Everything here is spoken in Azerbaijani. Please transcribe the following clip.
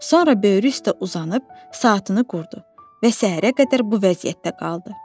Sonra böyrü üstə uzanıb saatını qurdu və səhərə qədər bu vəziyyətdə qaldı.